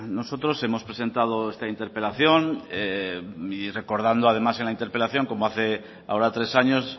nosotros hemos presentado esta interpelación recordando además en la interpelación como hace ahora tres años